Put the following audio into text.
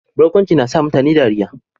Barkwanci na sa mutane dariyya.